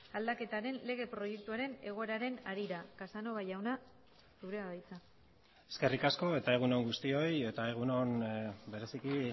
aldaketaren lege proiektuaren egoeraren harira casanova jauna zurea da hitza eskerrik asko eta egun on guztioi eta egun on bereziki